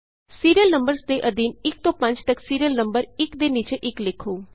serial numbers ਦੇ ਅਧੀਨ 1 ਤੋਂ 5 ਤਕ ਸੀਰੀਅਲ ਨੰਬਰ ਇਕ ਦੇ ਨੀਚੇ ਇਕ ਲਿਖੋ